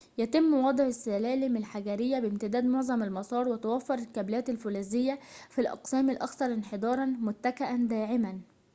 يتم وضع السّلالم الحجريّة بامتداد معظم المسار وتوفّر الكابلات الفولاذية في الأقسام الأكثر انحداراً متكأً داعماً